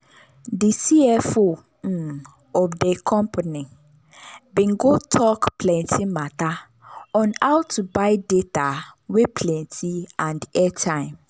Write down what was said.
de cfo um of de company bin go tok plenty mata on how to buy data wey plenty and airtime.